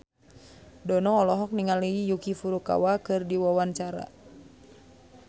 Dono olohok ningali Yuki Furukawa keur diwawancara